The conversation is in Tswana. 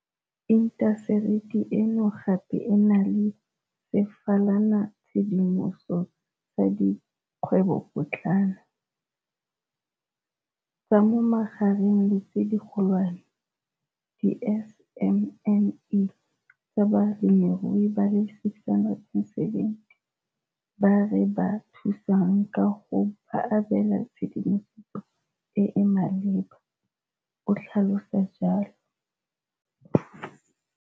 Intaseteri eno gape e na le sefalanatshedimoso sa dikgwebopotlana, tsa mo magareng le tse digolwane, di-SMME, tsa balemirui ba le 670 ba re ba thusang ka go ba abela tshedimosetso e e maleba, o tlhalosa jalo.